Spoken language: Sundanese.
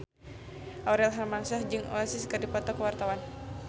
Aurel Hermansyah jeung Oasis keur dipoto ku wartawan